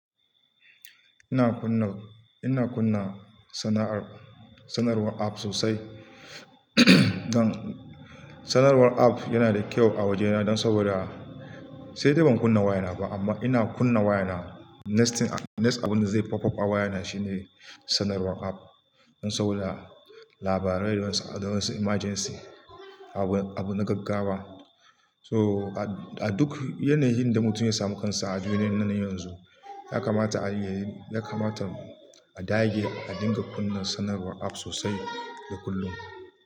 Ina kunna, ina kunna sana'ar, sanarwar App sosai. Dan sanarwar Apps yana da kyau a wajena dan sabida sai dai ban kunna wayana ba amma ina kunna wayana. Next, next abunda zai pop up a wayana shine sanarwar App. Dan sabida labarai da wasu, da wasu emergency, abu, abu na gaggawa. To a duk yanayin da mutum ya samu kansa a duniyan nan yanzu, yakamata a, yakamata a dage a dinga kunna sanarwar App sosai da kullum.